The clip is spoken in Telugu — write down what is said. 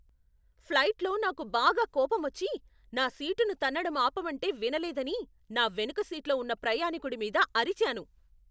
ఫ్లైట్లో నాకు బాగా కోపమొచ్చి, నా సీటును తన్నడం ఆపమంటే వినలేదని నా వెనుక సీట్లో ఉన్న ప్రయాణికుడి మీద అరిచాను.